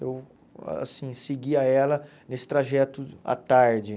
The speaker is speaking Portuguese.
Eu, assim, seguia ela nesse trajeto à tarde.